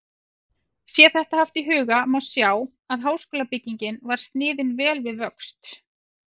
Sé þetta haft í huga, má sjá, að háskólabyggingin var sniðin vel við vöxt.